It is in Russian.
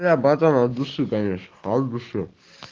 бля братан от души конечно от души